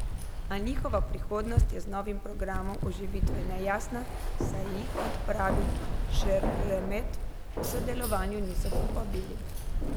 A njihova prihodnost je z novim programom oživitve nejasna, saj jih, kot pravi Šeremet, k sodelovanju niso povabili.